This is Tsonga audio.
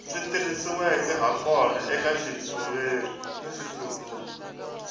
swi tirhisiweke hakona eka xitshuriwa